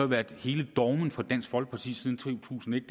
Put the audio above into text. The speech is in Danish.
været hele dogmet for dansk folkeparti siden to tusind og et